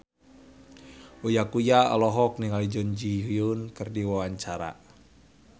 Uya Kuya olohok ningali Jun Ji Hyun keur diwawancara